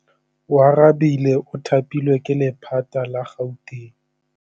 Oarabile o thapilwe ke lephata la Gauteng.